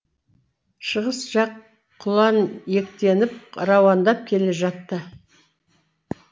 шығыс жақ құланиектеніп рауандап келе жатты